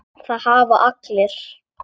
Það hafa allir